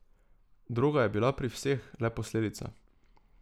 Droga je bila pri vseh le posledica.